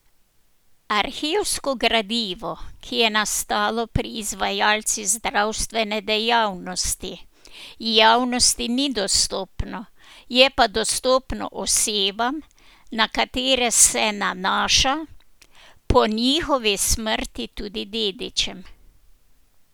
Arhivsko gradivo, ki je nastalo pri izvajalcih zdravstvene dejavnosti, javnosti ni dostopno, je pa dostopno osebam, na katere se nanaša, po njihovi smrti tudi dedičem.